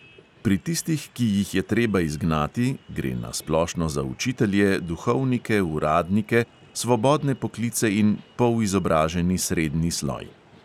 Pri tistih, ki jih je treba izgnati, gre na splošno za učitelje, duhovnike, uradnike, svobodne poklice in polizobraženi srednji sloj.